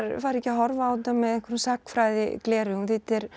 fari ekki að horfa á þetta með einhverjum sagnfræðigleraugum því þetta er